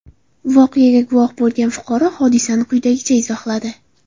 Voqeaga guvoh bo‘lgan fuqaro hodisani quyidagicha izohladi.